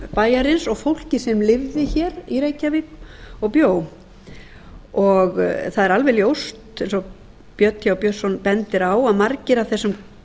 bæjarins og fólkið sem lifði hér í reykjavík og bjó það er alveg ljóst eins og björn th björnsson bendir á að margir af þessum